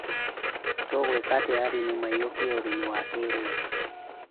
Tũngĩkatĩa arĩmi maiyũkie ũrĩmi wa kĩrĩu?